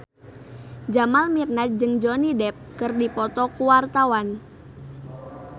Jamal Mirdad jeung Johnny Depp keur dipoto ku wartawan